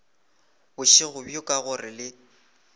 bošego bjo ka gore le